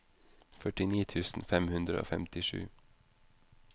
førtini tusen fem hundre og femtisju